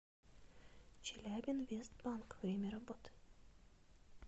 челябинвестбанк время работы